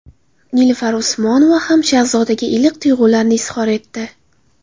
Nilufar Usmonova ham Shahzodaga iliq tuyg‘ularini izhor etdi.